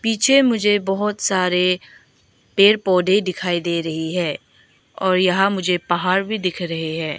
पीछे मुझे बहुत सारे पेर पौधे दिखाई दे रही है और यहां मुझे पहाड़ भी दिख रहे हैं।